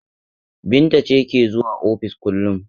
Binta ce ke zuwa ofis kullum.